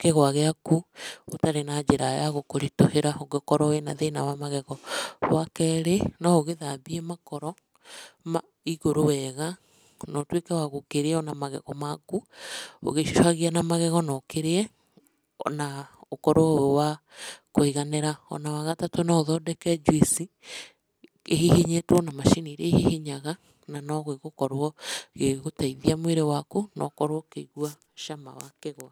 kĩgũa gĩaku ũtarĩ na njĩra ya gũkũritũhĩra ũngĩkorwo wĩna thĩna wa magego. Wa kerĩ, no ũgĩthambie makoro igũrũ wega no ũtwĩke wa gũkĩrĩa na magego maku, ũgĩecũhagia na magego no ũkĩrĩe ona ũkorwo wĩ wa kũiganĩra. Ona wa gatatũ no ũhondeke njuici ĩhihinyĩtwo na macini iria ihihinyaga na no gĩgũkorwo gĩgĩgũteithia mwĩrĩ waku no ũkorwo ũkĩigua cama wa kĩgwa.